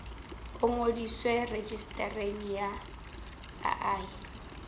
o ngodiswe rejistareng ya baahi